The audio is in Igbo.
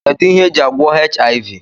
Kedu ihe e ji agwọ HIV?